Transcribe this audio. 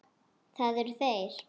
Það eru þeir.